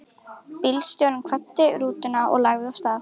Bílstjórinn kvaddi og rútan lagði af stað.